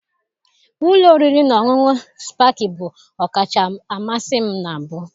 Ụlọ oriri na ọṅụṅụ Spakịị bụ ọkacha mmasị m na mbụ